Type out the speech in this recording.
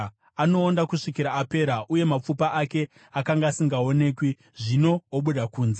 Anoonda kusvikira apera, uye mapfupa ake, akanga asingaonekwi, zvino obuda kunze.